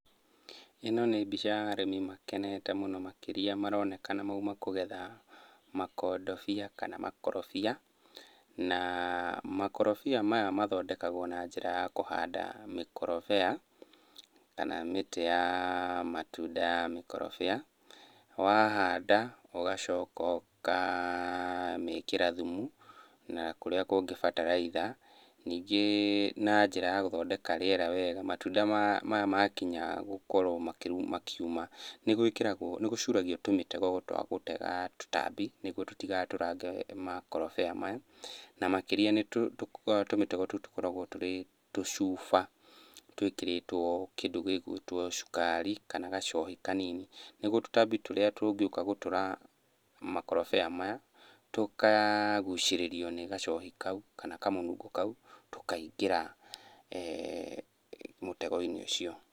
Ĩno nĩ mbica ya arĩmi makenete mũno makĩria nĩmaroneka nĩ mauma kũgetha makondobia kana makorobia. Na makorobia maya mathondekagwo na njĩra ya kũhanda mĩkorobea kana mĩtĩ ya matunda ya mĩkorobia. Wahanda ũgacoka ũkamĩkĩra thumu na kũrĩa kũngĩ bataraitha. Ningĩ na njĩra ya gũthondeka rĩera wega, matunda maya makinya gũkorwo makiuma nĩgwĩkĩragwo nĩgũcuragio tũmĩtego twa gũtega tũtambi nĩguo tũtigatũrange makorobia maya. Na makĩria nĩ tũmĩtego tũu tũkoragwo tũrĩ tũcuba twĩkĩrĩtwo kĩndũ gĩ gwĩtwo cukari kana gacohi kanini, nĩguo tũtambi tũrĩa tũngĩũka gũtũra makorobia maya, tũkagucĩrĩrio nĩ gacohi kau kana kamũnungo kau tũkaingĩra mũtego-inĩ ũcio.